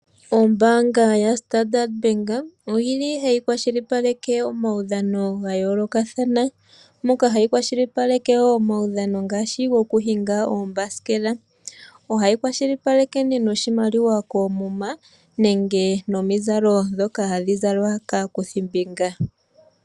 Ombaanga ya Standard Bank oyi li hayi kwashilipaleke omaudhano ga yoolokathana, moka hayi kwashilipaleke wo omaudhano ngaashi gokuhinga oombasikela. Ohayi kwashilipaleke nee noshimaliwa koomuma nenge nomizalo dhoka hadhi zalwa kaakuthimbinga.